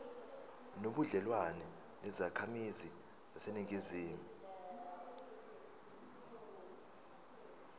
nobudlelwane nezakhamizi zaseningizimu